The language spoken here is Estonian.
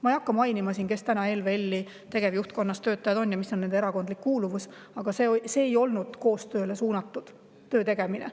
Ma ei hakka siin seda mainima, kes on ELVL-i tegevjuhtkonna töötajad ja milline on nende erakondlik kuuluvus, aga see töötegemine ei olnud suunatud koostööle.